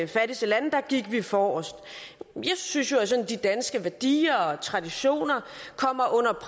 fattigste lande gik vi forrest jeg synes jo at de danske værdier og traditioner kommer